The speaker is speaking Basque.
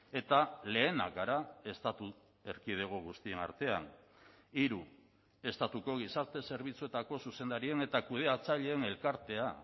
eta lehenak gara estatu erkidego guztien artean hiru estatuko gizarte zerbitzuetako zuzendarien eta kudeatzaileen elkartea